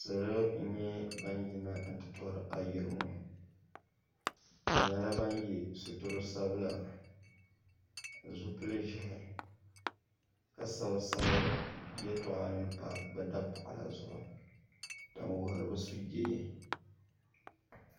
Salo n nyɛ ban yina n ti tori ayirimo bɛ nyɛla ban ye situri sabila ni zipili ʒehi ka sabi sabi yeltɔɣa nima pa bɛ dapaɣala zuɣu din wuhiri bɛ sujee.